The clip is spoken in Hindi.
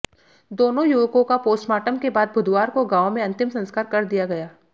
दोनों युवकों का पोस्टमार्टम के बाद बुधवार को गांव में अंतिम संस्कार कर दिया गया